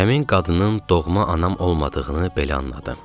Həmin qadının doğma anam olmadığını belə anladım.